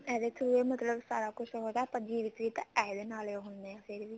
ਇਹਦੇ through ਮਤਲਬ ਸਾਰਾ ਕੁੱਝ ਇਹਦਾ ਆਪਾਂ ਤਾਂ ਇਹਦੇ ਨਾਲ ਹੁੰਦੇ ਹਾਂ ਫ਼ੇਰ ਵੀ